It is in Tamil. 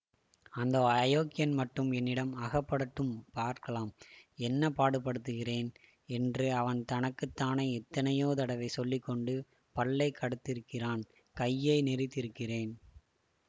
அந்த அயோக்யன் மட்டும் என்னிடம் அகப்படட்டும் பார்க்கலாம் என்ன பாடுபடுத்துகிறேன் என்று அவன் தனக்கு தானே எத்தனையோ தடவை சொல்லி கொண்டு பல்லை கடித்திருக்கிறான் கையை நெறித்திருக்கிறேன்